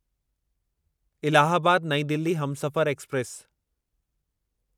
इलाहाबाद नईं दिल्ली हमसफ़र एक्सप्रेस